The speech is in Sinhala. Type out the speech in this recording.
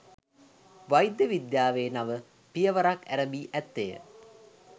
වෛද්‍ය විද්‍යාවේ නව පියවරක් ඇරඹී ඇත්තේය